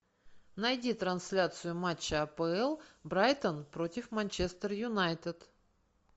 найди трансляцию матча апл брайтон против манчестер юнайтед